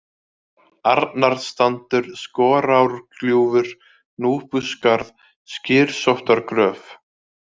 Arnarstandur, Skorárgljúfur, Núpuskarð, Skyrsóttargróf